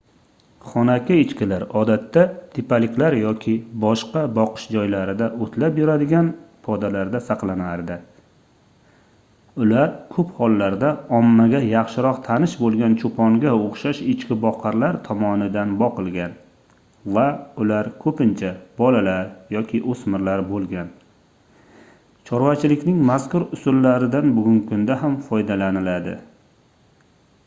xonaki echkilar odatda tepaliklar yoki boshqa boqish joylarida oʻtlab yuradigan podalarda saqlanardi ular koʻp hollarda ommaga yaxshiroq tanish boʻlgan choʻponga oʻxshash echkiboqarlar tomonidan boqilgan va ular koʻpincha bolalar yoki oʻsmirlar boʻlgan chorvachilikning mazkur usullaridan bugungi kunda ham foydalaniladi